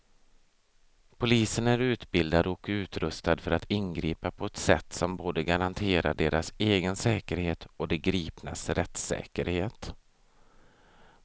Polisen är utbildad och utrustad för att ingripa på ett sätt som både garanterar deras egen säkerhet och de gripnas rättssäkerhet.